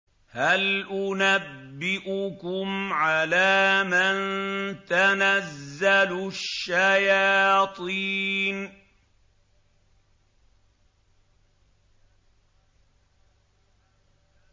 هَلْ أُنَبِّئُكُمْ عَلَىٰ مَن تَنَزَّلُ الشَّيَاطِينُ